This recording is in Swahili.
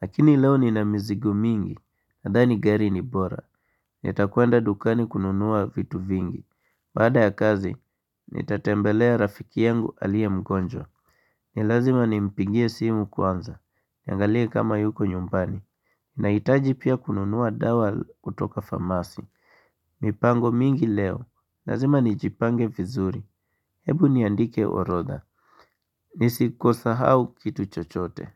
Lakini leo nina mizigo mingi. Nadhani gari ni bora. Nitakwenda dukani kununua vitu vingi. Baada ya kazi, nitatembelea rafiki yangu aliye mgonjwa ni lazima nimpigie simu kwanza, niangalie kama yuko nyumbani Nahitaji pia kununua dawa kutoka famasi mipango mingi leo, lazima nijipange vizuri, hebu niandike orodha Nisiko sahau kitu chochote.